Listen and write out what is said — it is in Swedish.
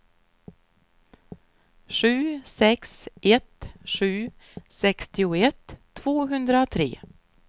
sju sex ett sju sextioett tvåhundratre